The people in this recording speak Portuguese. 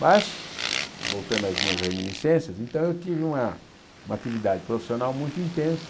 Mas, voltando às minhas reminiscências, então eu tive uma uma atividade profissional muito intensa,